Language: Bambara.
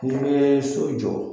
N'i bɛ so jɔ